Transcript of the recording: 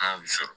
An y'u sɔrɔ